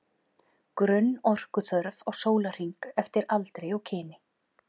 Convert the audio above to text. Grunnorkuþörf á sólarhring eftir aldri og kyni